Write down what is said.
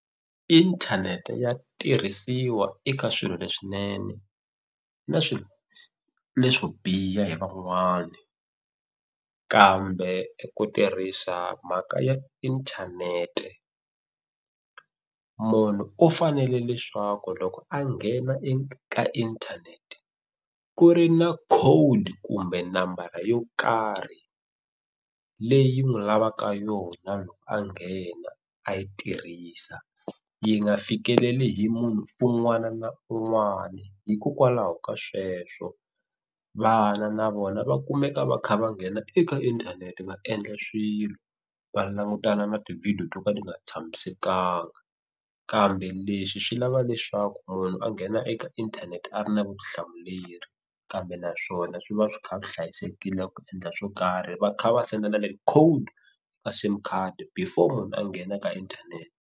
Inthanete ya tirhisiwa eka swilo leswinene na swilo leswo biha hi van'wani kambe eku tirhisa mhaka ya inthanete munhu u fanele leswaku loko a nghena ka inthanete ku ri na codekumbe nambara yo karhi leyi n'wi lavaka yona loko a nghena a yi tirhisa yi nga fikeleli hi munhu un'wana na un'wani hikokwalaho ka sweswo vana na vona va kumeka va kha va nghena eka inthanete va endla swilo va langutana na tivhidiyo to ka ti nga tshamisekanga kambe leswi swi lava leswaku munhu a nghena eka inthanete a ri na vutihlamuleri kambe naswona swi va swi kha swi hlayisekile ku endla swo karhi va kha va sendela code ka sim card before munhu a nghena ka inthanete.